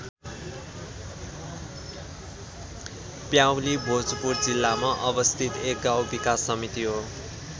प्याउली भोजपुर जिल्लामा अवस्थित एक गाउँ विकास समिति हो।